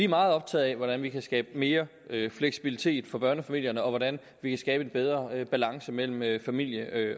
meget optaget af hvordan vi kan skabe mere fleksibilitet for børnefamilierne og hvordan vi kan skabe en bedre balance mellem mellem familie